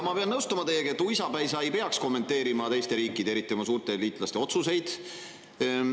Ma pean nõustuma teiega, et uisapäisa ei peaks kommenteerima teiste riikide, eriti oma suurte liitlaste otsuseid.